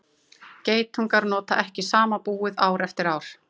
geitungar nota ekki sama búið ár eftir ár